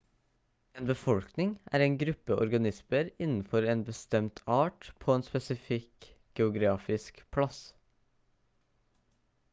en befolkning er en gruppe organismer innenfor en bestemt art på en spesifikk geografisk plass